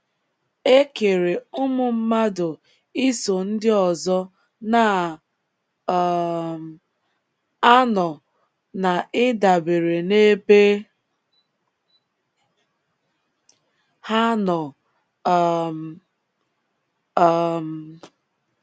E kere ụmụ mmadụ iso ndị ọzọ na - um anọ na ịdabere n’ebe ha nọ um. um